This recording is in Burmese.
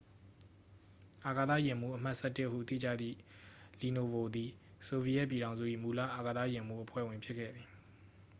"""အာကသယာဉ်မှူး အမှတ် ၁၁" ဟု သိကြသည့် လီနိုဗို သည် ဆိုဗီယက်ပြည်ထောင်စု၏ မူလ အာကသယာဉ်မှူး အဖွဲ့ဝင် ဖြစ်ခဲ့သည်။